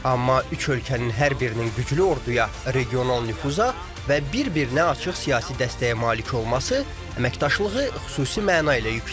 Amma üç ölkənin hər birinin güclü orduya, regional nüfuza və bir-birinə açıq siyasi dəstəyə malik olması əməkdaşlığı xüsusi məna ilə yükləyir.